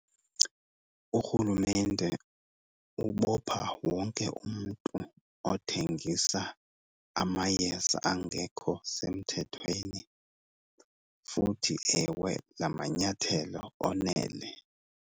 Urhulumente ubopha wonke umntu othengisa amayeza angekho semthethweni. Futhi, ewe, la manyathelo onele.